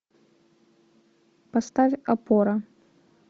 поставь опора